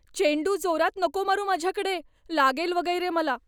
चेंडू जोरात नको मारू माझ्याकडे. लागेल वगैरे मला.